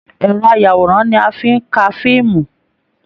Ẹrọ ayàwòrán ní a fí n ká fíìmù.